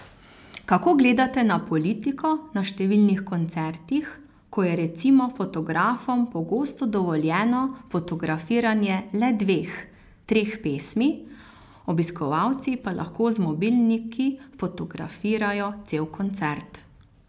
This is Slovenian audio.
Kako gledate na politiko na številnih koncertih, ko je recimo fotografom pogosto dovoljeno fotografiranje le dveh, treh pesmi, obiskovalci pa lahko z mobilniki fotografirajo cel koncert.